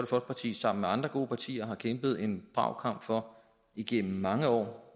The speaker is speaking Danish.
folkeparti sammen med andre gode partier har kæmpet en brav kamp for igennem mange år